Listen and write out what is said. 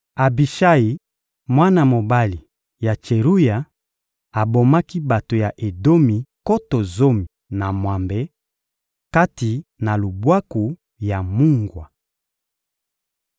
Abishayi, mwana mobali ya Tseruya, abomaki bato ya Edomi nkoto zomi na mwambe, kati na Lubwaku ya Mungwa.